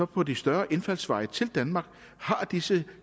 på de større indfaldsveje til danmark har disse